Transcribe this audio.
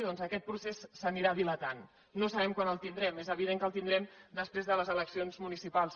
doncs aquest procés s’anirà dilatant no sabem quan el tindrem és evident que el tindrem després de les eleccions municipals